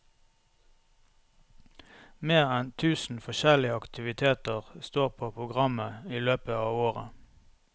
Mer enn tusen forskjellige aktiviteter står på programmet i løpet av året.